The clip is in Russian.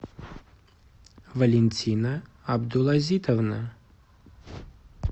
валентина абдулазитовна